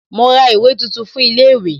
Mo ra ìwé tuntun fún ilé ìwé